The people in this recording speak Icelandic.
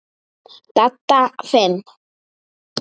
Dadda fimm.